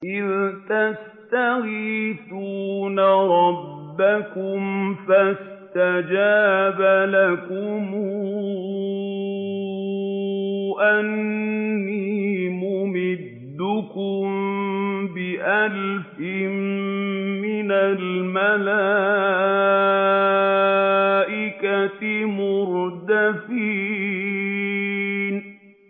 إِذْ تَسْتَغِيثُونَ رَبَّكُمْ فَاسْتَجَابَ لَكُمْ أَنِّي مُمِدُّكُم بِأَلْفٍ مِّنَ الْمَلَائِكَةِ مُرْدِفِينَ